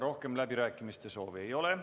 Rohkem läbirääkimiste soovi ei ole.